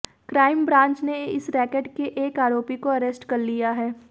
crime branch ने इस racket के एक आरोपी को अरेस्ट कर लिया है